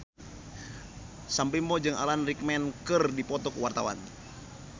Sam Bimbo jeung Alan Rickman keur dipoto ku wartawan